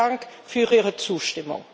Vielen Dank für Ihre Zustimmung!